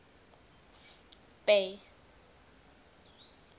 bay